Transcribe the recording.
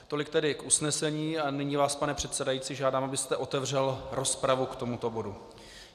Tolik tedy k usnesení a nyní vás, pane předsedající, žádám, abyste otevřel rozpravu k tomuto bodu.